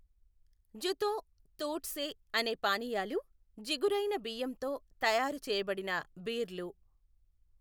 జుతో, తూట్సే అనే పానీయాలు జిగురైన బియ్యంతో తయారు చేయబడిన బీర్లు.